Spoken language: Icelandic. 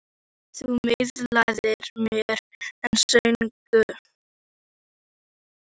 Þú miðlaðir mér stöðugt, hlýjum gefandi straumum.